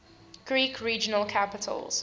greek regional capitals